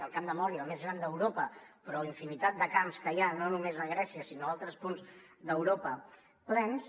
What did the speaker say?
el camp de mória el més gran d’europa però infinitat de camps que hi ha no només a grècia sinó a altres punts d’europa plens